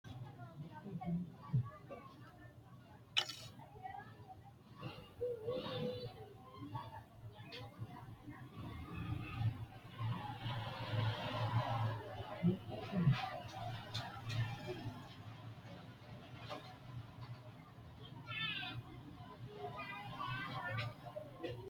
Borreessate Bude: Ittisunna Taxxeessu Malaatta Biddissa Woroonni shiqqino coy fooliishsho giddo lawishshu garinni ittisunna taxxeessu malaati hasiissannowa worte so’ro taashshite dafitarikkira borreessi.